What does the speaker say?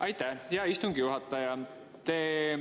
Aitäh, hea istungi juhataja!